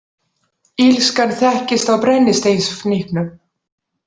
Illskan þekkist á brennisteinsfnyknum.